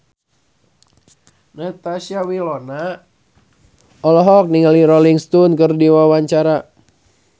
Natasha Wilona olohok ningali Rolling Stone keur diwawancara